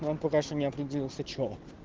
он пока что не определился что